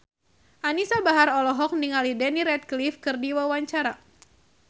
Anisa Bahar olohok ningali Daniel Radcliffe keur diwawancara